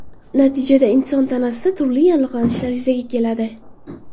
Natijada, inson tanasida turli yallig‘lanishlar yuzaga keladi.